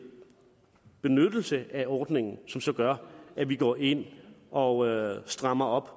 benyttelse af ordningen som så gør at vi går ind og strammer op